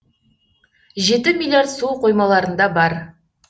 жеті миллиард су қоймаларында бар